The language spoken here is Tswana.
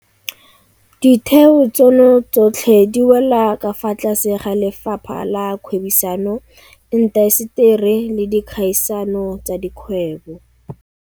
Ditheo tseno tsotlhe di wela ka fa tlase ga Lefapha la Kgwebisano, Intaseteri le Dikgaisano tsa Dikgwebo.